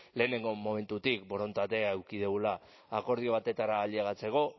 lehenengo momentutik borondatea eduki dugula akordio batetara ailegatzeko